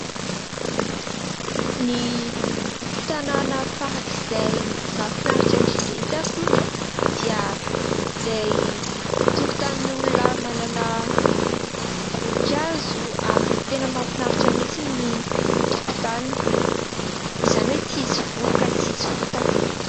Ny tanàna farak'izay mahafinaritra indrindra hita alony dia ilay tokotanin'olona manana voninkazo ary tena mahafinaritra mintsy ny tokotaniy ; izany hoe tsy misy vovoka, tsy misy fotaka.